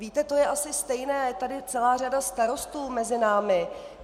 Víte, to je asi stejné, je tady celá řada starostů mezi námi.